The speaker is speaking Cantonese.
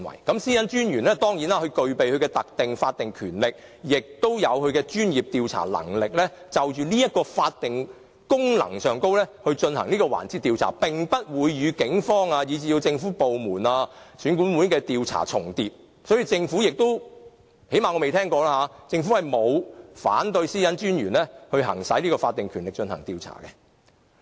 當然，私隱專員具備特定的法律權力，也具有專業調查能力，根據這個法定功能就這個環節進行的調查，並不會與警方，以至政府部門、選舉管理委員會的調查重疊，所以政府——最少我未聽過——沒有反對私隱專員行使法定權力進行調查。